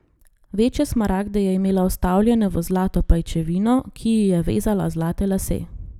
Večje smaragde je imela vstavljene v zlato pajčevino, ki ji je vezala zlate lase.